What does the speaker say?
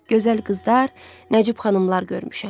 Gözəl qızlar, Nəcib xanımlar görmüşəm.